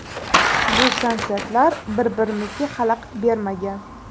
Bu konsertlar bir-birimizga xalaqit bermagan.